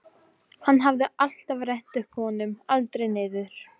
Hann hafði alltaf rennt honum upp, aldrei niður.